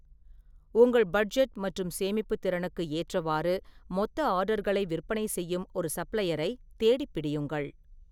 உங்கள் பட்ஜெட் மற்றும் சேமிப்புத் திறனுக்கு ஏற்றவாறு, மொத்த ஆர்டர்களை விற்பனை செய்யும் ஒரு சப்ளையரை தேடிப் பிடியுங்கள்.